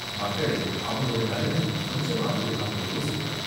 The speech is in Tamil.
மக்களையும் அவங்களோட நலனையும் கொஞ்சமாவது அவங்க யோசிக்கணும்.